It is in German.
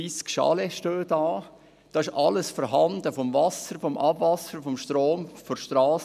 Sie besteht aus zwanzig bis dreissig Chalets, und alles ist vorhanden, Wasser, Abwasser, Strom und eine Strasse.